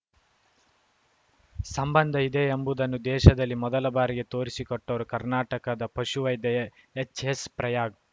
ಸಂಬಂಧ ಇದೆ ಎಂಬುದನ್ನು ದೇಶದಲ್ಲಿ ಮೊದಲ ಬಾರಿಗೆ ತೋರಿಸಿಕೊಟ್ಟವರು ಕರ್ನಾಟಕದ ಪಶುವೈದ್ಯ ಎಚ್‌ಎಸ್‌ ಪ್ರಯಾಗ್‌